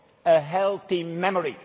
A healthy memory.